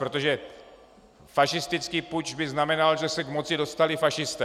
Protože fašistický puč by znamenal, že se k moci dostali fašisté.